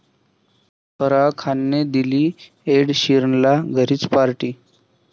फराह खानने दिली एड शीरनला घरीच पार्टी